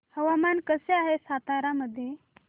हवामान कसे आहे सातारा मध्ये